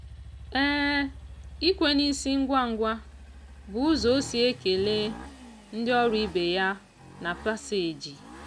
ikwe n'isi ngwa ngwa bụ ụzọ ọ si ekele ndị ọrụ ibe ya na paseeji.